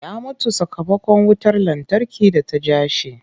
Ya mutu sakamakon wutar lantarki da ta ja shi.